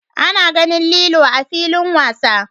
A na ganin lilo a'filin wasa.